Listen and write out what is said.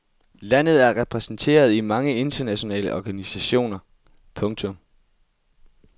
Landet er repræsenteret i mange internationale organisationer. punktum